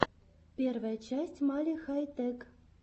первая часть мали хай тэк